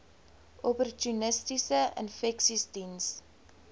opportunistiese infeksies diens